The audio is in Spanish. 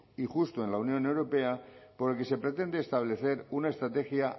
y justo en la unión europea por el que se pretende establecer una estrategia